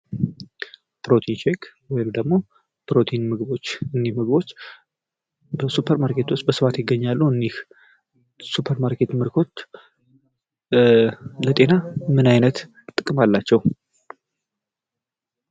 ፕሮቲን ሼክ ወይም ደግሞ ፕሮቲን ምግቦች በሱፐርማርኬት ውስጥ በብዛት ይገኛሉ ። እኝህ የሱፐርማርኬት ምግቦች ለጤና ምን ዓይነት ጥቅም አላቸው ?